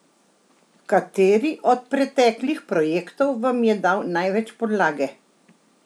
Kateri od preteklih projektov vam je dal največ podlage?